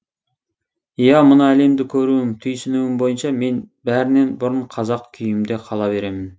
иә мына әлемді көруім түйсінуім бойынша мен бәрінен бұрын қазақ күйімде қала беремін